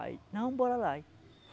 Aí, não, bora lá. Aí